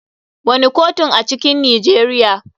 Wane kotun a cikin Nijeriya.